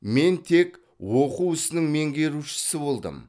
мен тек оқу ісінің меңгерушісі болдым